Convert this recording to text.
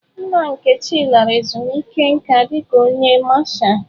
Nna Nkechi lara ezumike nka dika onye Masha.